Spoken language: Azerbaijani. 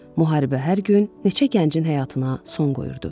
Müharibə hər gün neçə gəncin həyatına son qoyurdu.